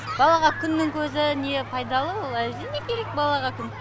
балаға күннің көзі не пайдалы ол әрине керек балаға күн